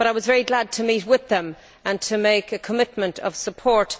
But I was very glad to meet with them and to make a commitment of support.